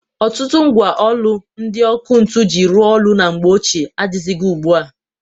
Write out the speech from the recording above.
Ọtụtụ mgwa ọlụ ndị ọkụ ntu ji rụọ ọlụ na mgbe ochịe adịghịzị ugbua.